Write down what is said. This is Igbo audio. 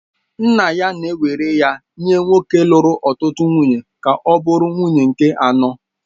Nna ya na-ewere ya nye nwoke ahụ lụrụ ọtụtụ nwunye ka ọ bụrụ nwunye nke anọ